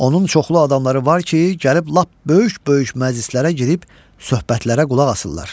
Onun çoxlu adamları var ki, gəlib lap böyük-böyük məclislərə girib söhbətlərə qulaq asırlar.